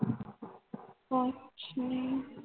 ਕੁਛ ਨਹੀਂ